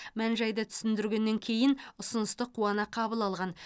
мән жайды түсіндіргеннен кейін ұсынысты қуана қабыл алған